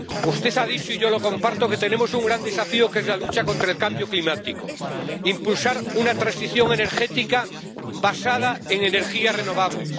Usted ha dicho —y yo lo comparto— que tenemos un gran desafío, que es la lucha contra el cambio climático impulsar una transición energética basada en energías renovables.